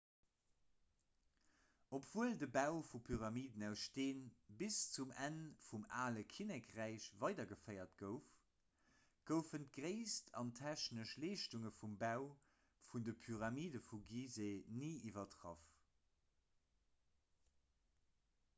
obwuel de bau vu pyramiden aus steen bis zum enn vum ale kinnekräich weidergeféiert gouf goufen d'gréisst an d'technesch leeschtung vum bau vun de pyramide vu giseh ni iwwertraff